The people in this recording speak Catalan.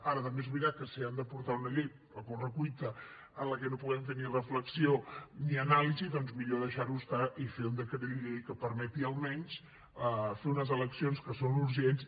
ara també és veritat que si hem de portar una llei a correcuita en la que no puguem fer ni reflexió ni anàlisi doncs millor deixar ho estar i fer un decret llei que permeti almenys fer unes eleccions que són urgents